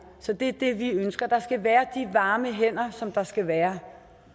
så det er det vi ønsker der skal være de varme hænder som der skal være